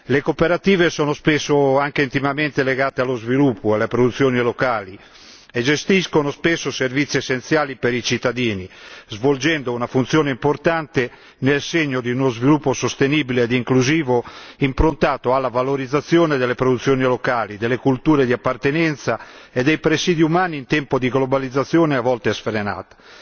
Le cooperative sono spesso anche intimamente legate allo sviluppo e alle produzioni locali e gestiscono spesso servizi essenziali per i cittadini, svolgendo una funzione importante nel segno di uno sviluppo sostenibile e inclusivo improntato alla valorizzazione delle produzioni locali, delle culture di appartenenza e dei presidi umani in tempo di globalizzazione a volte sfrenata.